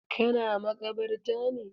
Ka na makabarta ne?